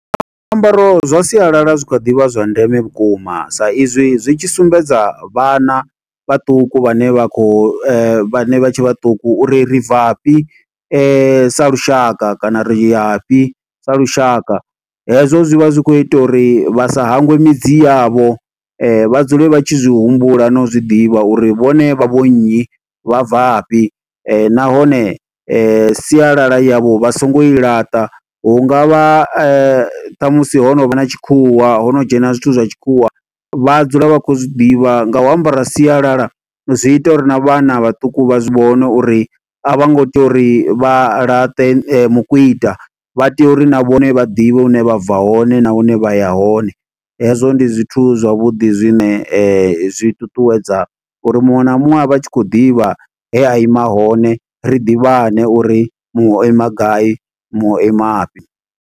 Zwiambaro zwa sialala zwi kha ḓi vha zwa ndeme vhukuma, sa izwi zwi tshi sumbedza vhana vhaṱuku vhane vha khou, vhane vha tshe vhaṱuku uri ri bva fhi, sa lushaka. Kana riya fhi, sa lushaka, hezwo zwi vha zwi khou ita uri, vha sa hangwe midzi yavho. Vha dzule vha tshi zwi humbula na u zwiḓivha uri vhone vha vho nnyi, vha bva fhi. Nahone sialala yavho vha songo i laṱa, hungavha ṱhamusi ho no vha na tshikhuwa, ho no dzhena zwithu zwa tshikhuwa. Vha dzula vha khou zwi ḓivha nga u ambara sialala, zwi ita uri na vhana vhaṱuku vha zwi vhone uri a vho ngo tea uri vha laṱe mukwiṱa. Vha tea uri na vhone vha ḓivhe hune vha bva hone, na hune vha ya hone. Hezwo ndi zwithu zwavhuḓi zwine zwi ṱuṱuwedza uri muṅwe na muṅwe a vhe a tshi khou ḓivha, he a ima hone. Ri ḓivhane uri muṅwe o ima gai, muṅwe o ima fhi.